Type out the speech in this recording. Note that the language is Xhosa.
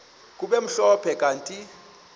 kube mhlophe kanti